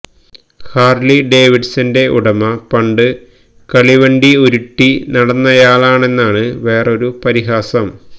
Harley ഡേവിഡ്സന്റെ ഉടമ പണ്ട് കളിവണ്ടി ഉരുട്ടി നടന്നയാളാണെന്നാണ് വേറൊരു പരിഹാസം